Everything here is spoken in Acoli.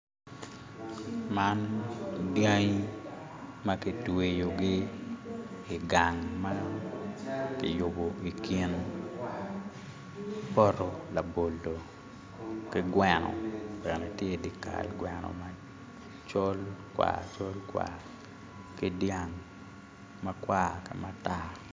Man dyangi ma kitweyogi i gang ma kiyubo i kin poto labolo ki gweno bene tye i di kal gweno ma col kwar col kwar ki dyang ma kwar ki matar